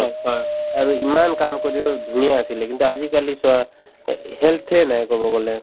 আৰু ইমান কাম কৰিও ধুনীয়া আছিলে কিন্তু আজিকালি চোৱা এ health য়ে নাই কব গলে